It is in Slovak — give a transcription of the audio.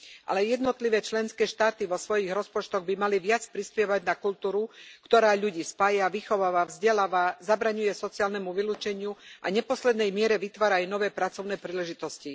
Ale aj jednotlivé členské štáty vo svojich rozpočtoch by mali viac prispievať na kultúru, ktorá ľudí spája, vychováva, vzdeláva, zabraňuje sociálnemu vylúčeniu a v neposlednej miere vytvára aj nové pracovné príležitosti.